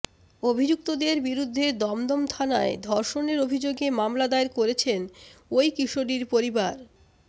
অভিযুক্তদের বিরুদ্ধে দমদম থানায় ধর্ষণের অভিযোগে মামলা দায়ের করেছেন ওই কিশোরীর পরিবার